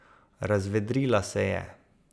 Razvedrila se je.